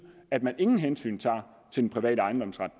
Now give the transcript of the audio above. at man ingen hensyn tager til den private ejendomsret